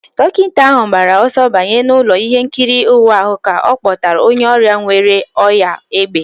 Dọkịta ahụ gbara ọsọ banye n'ụlọ ihe nkiri ịwa ahụ ka a kpọtara onye ọrịa nwere ọnyá égbè